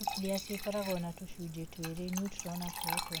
Nucleus ĩkoragwo na tũcunjĩ twĩrĩ - neutroni na protoni.